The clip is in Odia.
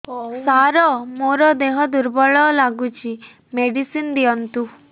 ସାର ମୋର ଦେହ ଦୁର୍ବଳ ଲାଗୁଚି ମେଡିସିନ ଦିଅନ୍ତୁ